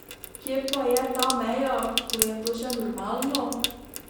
Kje pa je ta meja, ko je to še normalno?